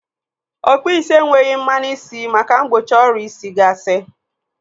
Ọkpụụ isi enweghị mmanụ isi maka mgbochi ọria isi gasị.